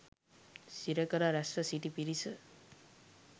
සිරකළ රැස්ව සිටි පිරිස